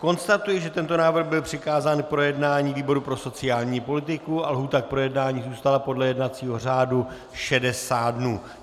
Konstatuji, že tento návrh byl přikázán k projednání výboru pro sociální politiku a lhůta k projednání zůstala podle jednacího řádu 60 dnů.